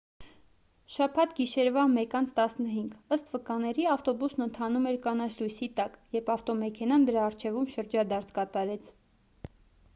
շաբաթ գիշերվա 1:15 ըստ վկաների ավտոբուսն ընթանում էր կանաչ լույսի տակ երբ ավտոմեքենան դրա առջևում շրջադարձ կատարեց